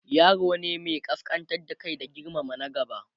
yaro ne Mai kaskantar da Kai da girmama na gaba